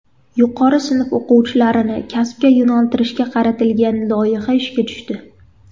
Yuqori sinf o‘quvchilarini kasbga yo‘naltirishga qaratilgan loyiha ishga tushdi.